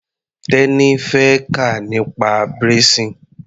Teni fẹ́ kà nípa braising.